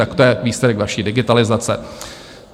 Tak to je výsledek vaší digitalizace!